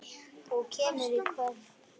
Þú kemur í kvöld!